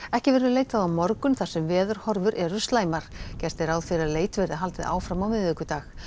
ekki verður leitað á morgun þar sem veðurhorfur eru slæmar gert er ráð fyrir að leit verði haldið áfram á miðvikudag